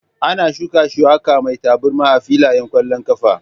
Ana shuka ciyawa mai tabarma a filayen ƙwallon ƙafa